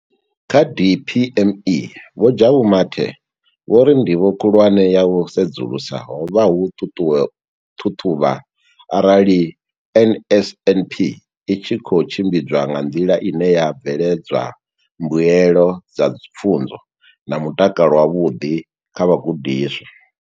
Kha DPME, Vho Jabu Mathe, vho ri ndivho khulwane ya u sedzulusa ho vha u ṱhaṱhuvha arali NSNP i tshi khou tshimbidzwa nga nḓila ine ya bveledza mbuelo dza pfunzo na mutakalo wavhuḓi kha vhagudiswa.